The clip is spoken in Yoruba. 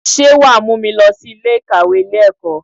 Sé wà a mú mi lọ sí Ilé ìkàwé Ilé ẹ̀kọ́?